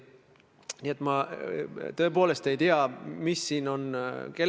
Mida ma kavatsen teha?